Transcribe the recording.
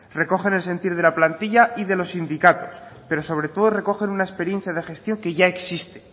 recogen el sentir de la plantilla y de los sindicatos pero sobre todo recogen una experiencia de gestión que ya existe